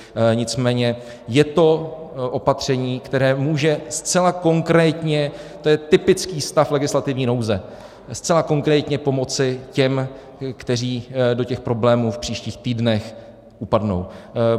Nicméně je to opatření, které může zcela konkrétně, to je typický stav legislativní nouze, zcela konkrétně pomoci těm, kteří do těch problémů v příštích týdnech upadnou.